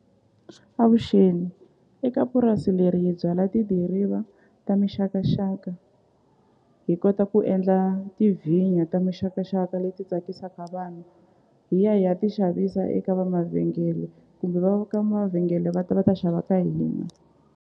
Avuxeni eka purasi leri hi byala tidiriva ta mixakaxaka hi kota ku endla tivhinyu ta mixakaxaka leti tsakisaka vanhu hi ya hi ya ti xavisa eka va mavhengele kumbe va ka mavhengele va ta va ta xava ka hina.